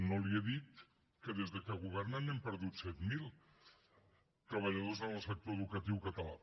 no li he dit que des que governen n’hem perdut set mil de treballadors en el sector educatiu català